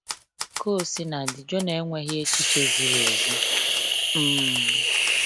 Ka o sina dị, Jona enweghị echiche ziri ezi. um